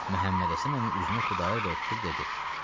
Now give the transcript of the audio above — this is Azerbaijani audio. Məhəmmədhəsən əmi üzünü Xudayar bəyə tutub dedi.